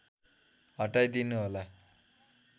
हटाई दिनु होला